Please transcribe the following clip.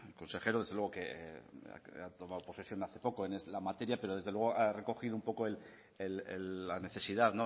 consejero desde luego que ha tomado posesión hace poco en esta materia pero desde luego ha recogido un poco la necesidad